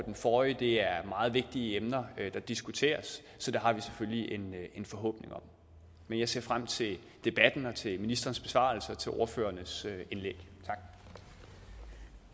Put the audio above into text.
forrige det er meget vigtige emner der diskuteres så det har vi selvfølgelig en forhåbning om men jeg ser frem til debatten og til ministerens besvarelse og til ordførernes indlæg